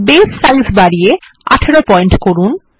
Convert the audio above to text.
বাসে সাইজ বাড়িয়ে 18 পয়েন্ট করুন